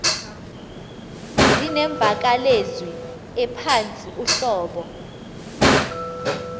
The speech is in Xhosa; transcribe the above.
zinemvakalezwi ephantsi uhlobo